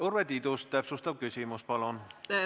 Urve Tiidus, täpsustav küsimus palun!